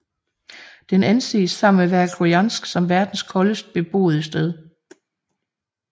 Den anses sammen med Verkhojansk som verdens koldeste beboede sted